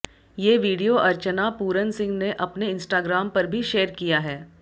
ये वीडियो अर्चना पूरन सिंह ने अपने इंस्टाग्राम पर भी शेयर किया है